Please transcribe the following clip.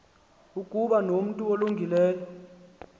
ukuba nomntu olungileyo